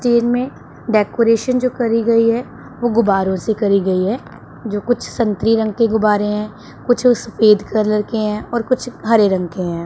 Train में decoration जो करी गई है वो गुब्बारों से करी गई है जो कुछ संतरी रंग के गुब्बारे हैं कुछ वो सफेद कलर के हैं और कुछ हरे रंग के हैं।